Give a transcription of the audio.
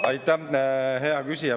Aitäh, hea küsija!